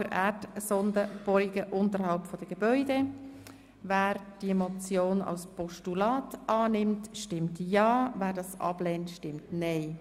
Wer den Vorstoss in Form eines Postulats annimmt, stimmt ja, wer dies ablehnt, stimmt nein.